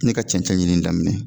Ne ka cɛncɛn ɲinini daminɛ